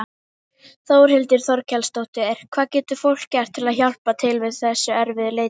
Þórhildur Þorkelsdóttir: Hvað getur fólk gert til að hjálpa til við þessa erfiðu leit?